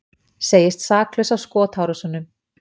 Segist saklaus af skotárásunum